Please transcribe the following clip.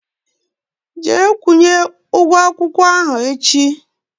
Jee kwunye ụgwọ akwụkwọ ahụ echi!